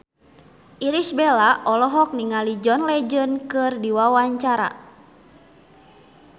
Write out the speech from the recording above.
Irish Bella olohok ningali John Legend keur diwawancara